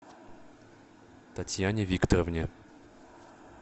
татьяне викторовне